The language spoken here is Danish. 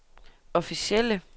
officielle